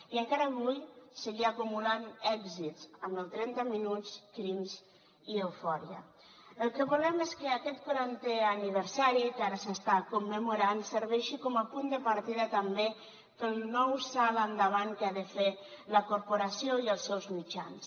i encara avui seguir acumulant èxits amb el trenta minuts el que volem és que aquest quarantè aniversari que ara s’està commemorant serveixi com a punt de partida també per al nou salt endavant que ha de fer la corporació i els seus mitjans